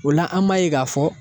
O la an b'a ye k'a fɔ